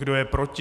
Kdo je proti?